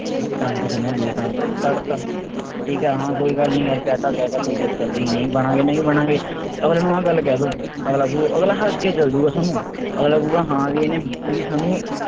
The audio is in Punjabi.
ਇਕ ਕੰਨ ਤੋਂ ਸੁਣਿਆ ਦੂਜੇ ਕੰਨ ਤੋਂ ਕੱਢ ਤਾ। ਠੀਕ ਹੈ ਕੋਈ ਗੱਲ ਨਹੀਂ ਯਾਰ ਕਹਿ ਤਾ ਕਹਿ ਤਾ ਕੋਈ ਚੱਕਰ ਨਹੀਂ, ਨਹੀਂ ਬਣਾਂਗੇ ਨਹੀਂ ਬਣਾਂਗੇ, ਅਗਲੇ ਨੂੰ ਆਹ ਗੱਲ ਕਹਿ ਦੋ, ਅਗਲਾ ਵੋ ਅਗਲਾ ਹੱਸ ਕੇ ਚੱਲ ਜਾਊਗਾ ਥੋਨੂੰ। ਅਗਲਾ ਕਹੂਗਾ ਹਾਂ ਵੀ ਇਹਨੇ ਵੀ ਸਾ